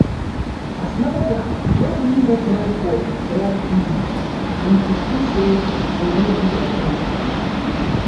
as manager no gree make life for work easy we kuku sey we no do again